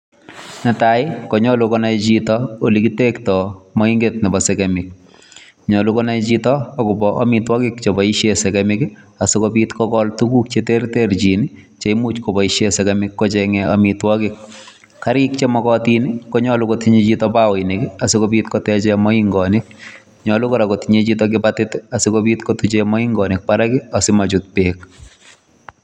Netai konyolu konai chito olekitektoo moing'et Nebo segemik. Nyolu konai chito akobo amitwogiik cheboishien segemik asikobiit kogol tuguuk che terterchin cheimuch koboishien segemik kochengen amitwogiik. Garik chemokotiin konyolu kotinyee chito bakoinik koteche moingoonik. Nyolu kotinye chito kibatit, asikobiit kotuchen moingonik barak asimaachut beek.